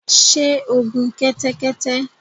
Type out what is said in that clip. Sé o gun kẹ́tẹ́kẹ́tẹ́